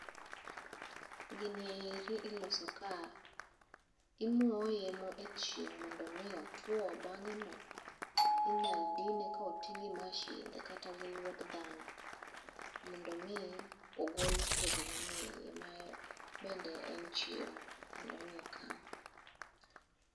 Gini eri iloso ka imoye echieng' mondo mi otuo, bang'eno inyalo dine koti gi mashinde kata lwet dhano, mondo mi ogol kodhi manie iye ma bende en chiemo mondo mi okan.